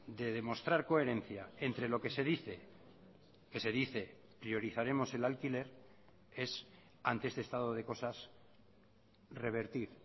de demostrar coherencia entre lo que se dice que se dice priorizaremos el alquiler es ante este estado de cosas revertir